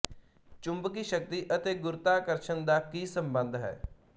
ਚੁੰਬਕੀ ਸ਼ਕਤੀ ਅਤੇ ਗੁਰੂਤਾਕਰਸ਼ਣ ਦਾ ਕੀ ਸੰਬੰਧ ਹੈ